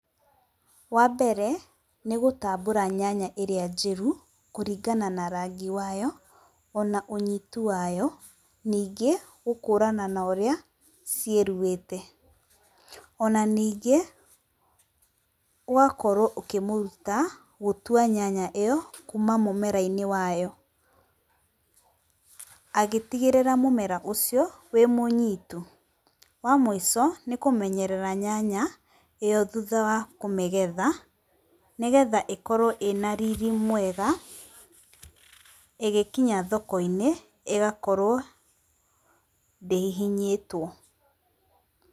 Wambere nĩ gũtambũra nyanya ĩrĩa njĩru kũringana na rangi wayo ona ũnyitu wayo, ningĩ gũkũrana na ũrĩa ciĩruhĩte. Ona ningĩ ũgakorwo ũkĩmũruta gũtua nyanya ĩyo kuma mũmera-inĩ wayo, agĩtigĩrĩra mũmera ũcio wĩmũnyitu. Wamũico nĩ kũmenyerera nyanya ĩyo thutha wa kũmĩgetha, nĩgetha ĩkorwo ĩna riri mwega ĩgĩkinya thoko-inĩ ĩgakorwo ndĩhihinyĩtwo.